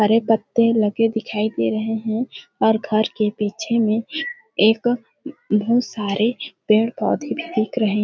हरे पत्ते लगे दिखाई दे रहे है और घर के पीछे में एक बहुत सारे पे पेड़ -पौधे भी दिख रहे --